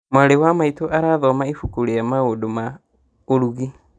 Mwarĩ wa maitũ arathoma ibuku rĩa maũndũ ma ũrugi